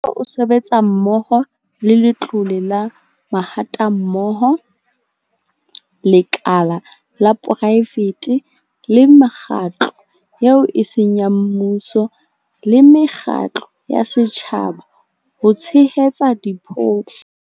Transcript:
Mmuso o sebetsa mmoho le Letlole la Mahatammoho, lekala la poraefete le mekgatlo eo e seng ya mmuso le mekgatlo ya setjhaba ho tshehetsa diphofu.